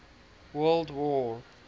world war